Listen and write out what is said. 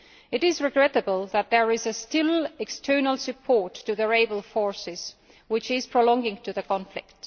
It is regrettable that there is still external support to the rebel forces, which is prolonging the conflict.